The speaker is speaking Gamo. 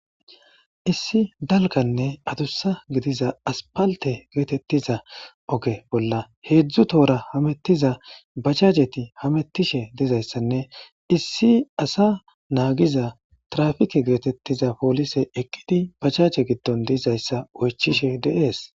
issi dalganne adussa gidiza aspalte geetettiza oge bolla heedzdzu toora hamettiza bachajeti hamettishe deizayssanne issi asa naagiza trafike geetettiza poolise eqqidi bachache giddon diizayssa oychishe dees